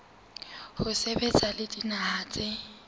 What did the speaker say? ho sebetsa le dinaha tse